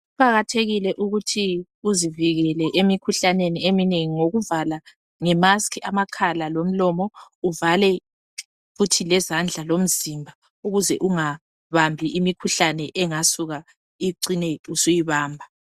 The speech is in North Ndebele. Kuqakathekile ukuthi uzivekele emikhuhlaneni eminengi ngokuvala ngemask amakhala lomlomo uvale futhi lezandla lomzimba ukuze ungabambi imikhuhlane engasuka icine usuyibamba.